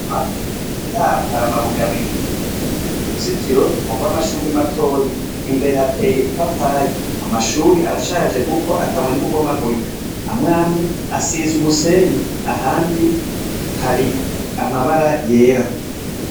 Imbere yaho hari amabuye abiri, uruzitiro nurwamashure matoyi, imbere hateye ipapayi, amashure arashaje kuko ryatanguye no kubomagurika ahandi hari amabara yera.